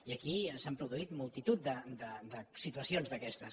i aquí s’han produït multitud de situacions d’aquestes